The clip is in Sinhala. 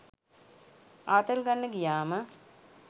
ආතල් ගන්න ගියාම